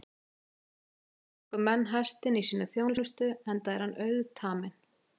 Í fornöld tóku menn hestinn í sína þjónustu enda er hann auðtaminn.